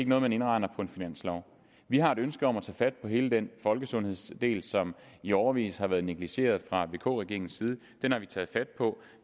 noget man indregner i en finanslov vi har et ønske om at tage fat på hele den folkesundhedsdel som i årevis har været negligeret fra vk regeringens side den har vi taget fat på